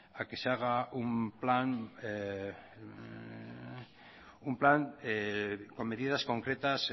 a que se haga un plan con medidas concretas